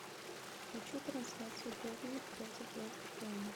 хочу трансляцию борнмут против вест хэма